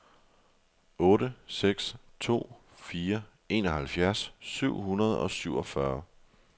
otte seks to fire enoghalvfjerds syv hundrede og syvogfyrre